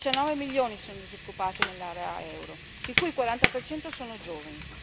Diciannove milioni sono i disoccupati nell'area euro, di cui il 40 per cento sono giovani.